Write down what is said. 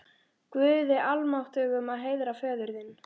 Guði almáttugum að heiðra föður þinn?